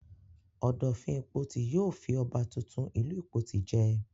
Ọ̀dọ̀fin Ìpoti yóò fi ọba tuntun ìlú Ìpoti jẹ.